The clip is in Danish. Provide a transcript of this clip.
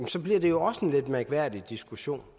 så bliver det jo også en lidt mærkværdig diskussion